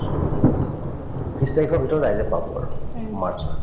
ত্ৰিশ তাৰিখৰ ভিতৰত ৰাইজে পাব আৰু march ৰ